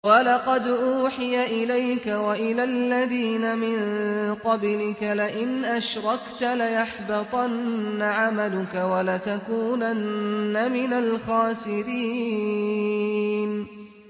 وَلَقَدْ أُوحِيَ إِلَيْكَ وَإِلَى الَّذِينَ مِن قَبْلِكَ لَئِنْ أَشْرَكْتَ لَيَحْبَطَنَّ عَمَلُكَ وَلَتَكُونَنَّ مِنَ الْخَاسِرِينَ